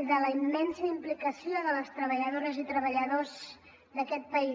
i de la immensa implicació de les treballadores i treballadors d’aquest país